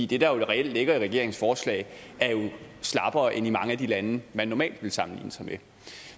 det der reelt ligger i regeringens forslag er jo slappere end i mange af de lande man normalt ville sammenligne sig med